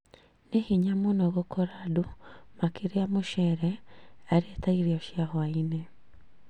Nĩ hinya mũno gũkora andũ makĩria mũcere arĩ ta irio cia hwa-inĩ